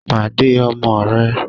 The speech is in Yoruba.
Pàdé ọmọ rẹ̀!